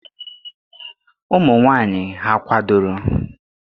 Ụmụ nwanyị hà kwadoro?